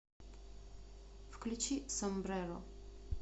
включи сомбреро